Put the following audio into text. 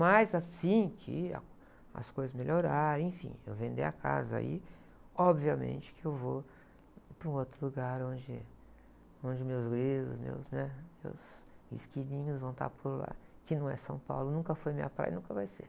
Mas assim que a, as coisas melhorarem, enfim, eu vender a casa aí, obviamente que eu vou para um outro lugar onde, onde meus grilos, meus, né? Meus esquilinhos vão estar por lá, que não é São Paulo, nunca foi minha praia e nunca vai ser.